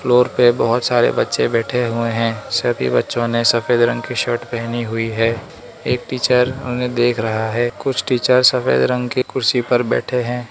पे बहुत सारे बच्चे बैठे हुए हैं सभी बच्चों ने सफेद रंग की शर्ट पहनी हुई है एक टीचर उन्हें देख रहा है कुछ टीचर सफेद रंग की कुर्सी पर बैठे हैं।